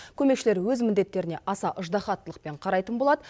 көмекшілер өз міндеттеріне аса ыждаһаттылықпен қарайтын болады